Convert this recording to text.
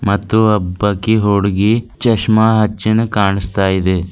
ಮತ್ತು ಒಬ್ಬಕಿ ಹುಡುಗಿ ಚೆಸ್ಮ ಹಚ್ಚನು ಕಾಣಿಸ್ತಾ ಇದೆ.